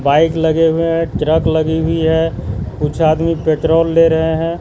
Bike लगे हुए हैं ट्रक लगी हुई है कुछ आदमी पेट्रोल ले रहे हैं।